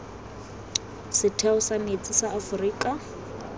setheo sa metsi sa aforika